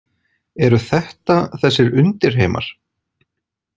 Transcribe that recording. Eru þetta þessir undirheimar?